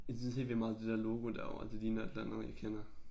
Jeg synes helt vildt meget det der logo derovre det ligner et eller andet jeg kender